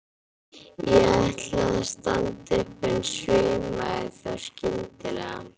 Ég ætlaði að standa upp en svimaði þá skyndilega.